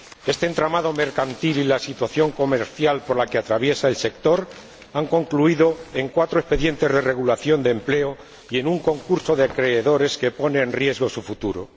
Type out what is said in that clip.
Este entramado mercantil y la situación comercial por la que atraviesa el sector han concluido en cuatro expedientes de regulación de empleo y en un concurso de acreedores que pone en riesgo su futuro.